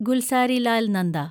Gulzarilal Nanda